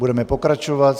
Budeme pokračovat.